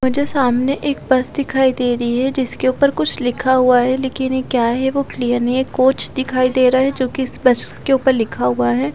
मुझे सामने एक बस दिखाई दे रही है जिसके ऊपर कुछ लिखा हुआ है लेकिन ये क्या है वो क्लियर नहीं है कोच दिखाई दे रहा है जोकि इस बस के ऊपर लिखा हुआ है।